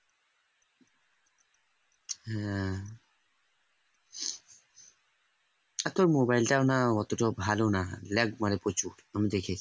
আর তোর mobile তাও না অত ভালো না lag মারে প্রচুর আমি দেখি